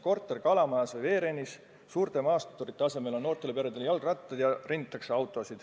Korter Kalamajas või Veerennis, suurte maasturite asemel on noortel peredel jalgrattad ja autosid renditakse.